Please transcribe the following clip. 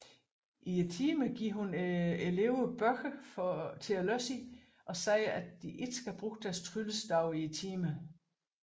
I timerne giver hun eleverne bøger at læse i og siger at de ikke skal bruge deres tryllestav i timerne